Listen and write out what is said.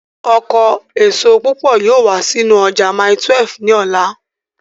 Ọkọ èso púpọ̀ yóò wá sínú ọjà mile 12 ní ọ̀la